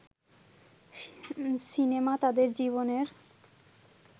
cinema তাদের জীবনের